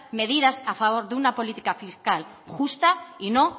medidas a favor de una política fiscal justa y no